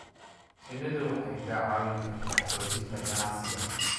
Shinnidu waxay kaa caawin kartaa xoojinta ganacsiga.